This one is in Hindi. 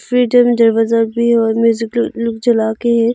और म्यूजिकल लुक चलाके है।